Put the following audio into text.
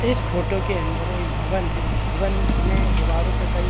इस फोटो के अंदर एक भवन हैं भवन में दिवारों पर कई --